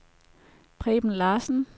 Preben Larsen